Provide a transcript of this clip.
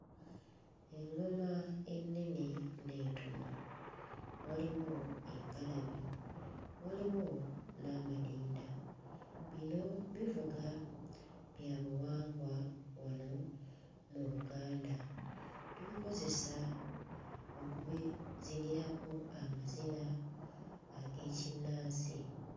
Eŋŋoma ennene n'entono. Waliwo engalabi, waliwo n'amadinda. Bino bivuga bya buwangwa wano mu Buganda. Tubikozesa okubizinirako amazina ag'ekinnansi.